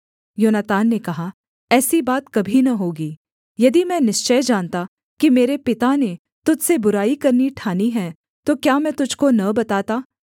योनातान ने कहा ऐसी बात कभी न होगी यदि मैं निश्चय जानता कि मेरे पिता ने तुझ से बुराई करनी ठानी है तो क्या मैं तुझको न बताता